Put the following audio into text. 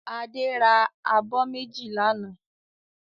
Adé ra abọ́ méjì lánàá.